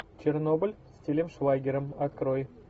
чернобыль с тилем швайгером открой